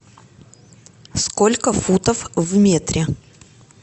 сколько футов в метре